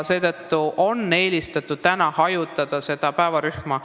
Seetõttu on eelistatud päevakoormust hajutada.